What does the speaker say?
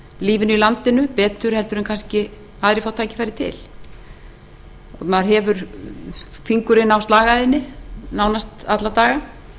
lífinu í landinu betur en aðrir fá kannski tækifæri til maður hefur fingurinn á slagæðinni nánast alla daga